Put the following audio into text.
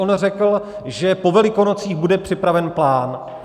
On řekl, že po Velikonocích bude připraven plán.